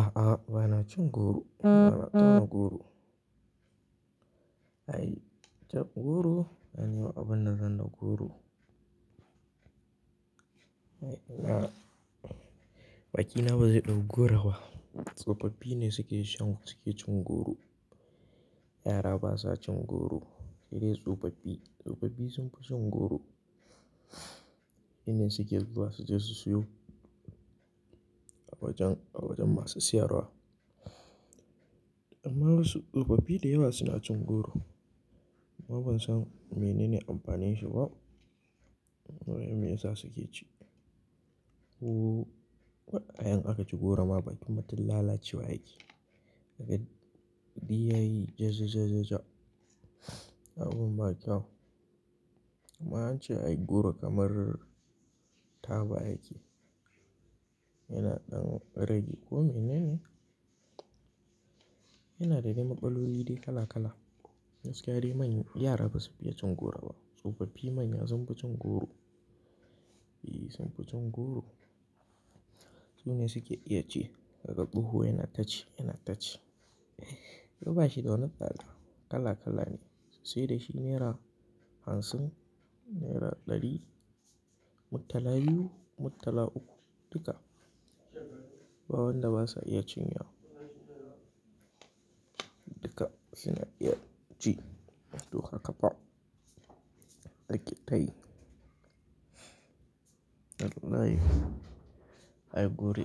A'a, ba na cin goro. Ba na tauna goro. Ai cab goro ai ni ba abinda zan da goro. Ai ina-- baƙi na ba zai ɗau goro ba. Tsofaffi ne suke cin goro. Yara ba sa cin goro. Sai dai tsofaffi. Tsofaffi sun fi cin goro. Su ne suke zuwa su je su siyo a wajen, a wajen masu siyarwa. Amma wasu tsofaffi da yawa suna cin goro. Amma ban san menene amfanin shi ba. Wai me yasa suke ci? Ko idan aka ci goro ma bakin mutum lalacewa yake. Yabi ya yi jaja-jaja-ja. Abun ba kyau amma an ce ai goro kamar taba yake. Yana ɗan rage. Ko menene? Yana da dai matsaloli dai kala kala. Gaskiya dai yara ba su fiye cin goro ba. Tsofaffi manya sun fi cin goro. E, sun fi cin goro. Su ne suke iya ci kaga tsoho yana taci, yana taci. Ba shi da wani tsada. Kala kala ne. Sai dai shi naira hamsin, naira ɗari, murtala biyu, murtala uku duka. Ba wanda ba sa iya cinyewa. Duka suna iya ci. Duk akafa. Da ƙetaye. Wallahi ai guri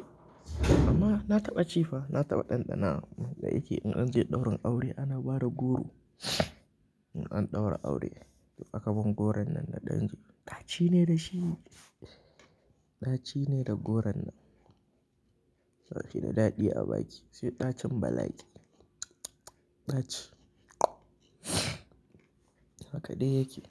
amma na taɓa ci fa, na taɓa ɗanɗanawa. Da yake in an je ɗaurin aure ana bada goro. In an ɗaura aure in aka ban goron nan na ɗan ci ɗaci ne da shi. Ɗaci ne da goron nan. Bashi da daɗi a baki sai ɗacin bala'i. Ɗaci. Haka dai yake.